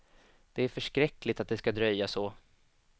Det är förskräckligt att det ska dröja så.